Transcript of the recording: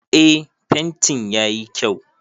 Eh fentin yayi kyau